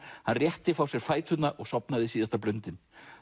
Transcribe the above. hann rétti frá sér fæturna og sofnaði síðasta blundinn